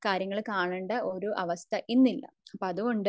കാര്യങ്ങൾ കാണണ്ട ഒരു അവസ്ഥ ഇന്ന് ഇല്ല അപ്പോ അതുകൊണ്ട്